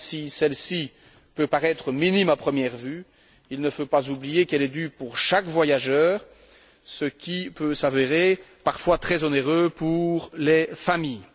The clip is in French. Et même si cette taxe peut paraître minime à première vue, il ne faut pas oublier qu'elle est due pour chaque voyageur, ce qui peut s'avérer parfois très onéreux pour les familles.